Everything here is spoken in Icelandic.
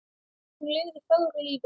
Hún lifði fögru lífi.